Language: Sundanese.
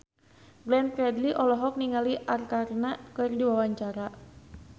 Glenn Fredly olohok ningali Arkarna keur diwawancara